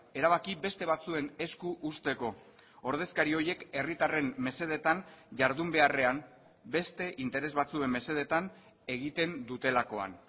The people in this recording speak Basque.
erabaki beste batzuen esku uzteko ordezkari horiek herritarren mesedetan jardun beharrean beste interes batzuen mesedetan egiten dutelakoan